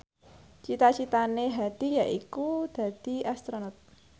cita citane Hadi yaiku dadi Astronot